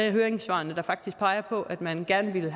af høringssvarene der faktisk peger på at man gerne ville